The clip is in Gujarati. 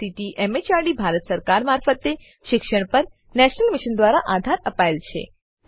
જેને આઈસીટી એમએચઆરડી ભારત સરકાર મારફતે શિક્ષણ પર નેશનલ મિશન દ્વારા આધાર અપાયેલ છે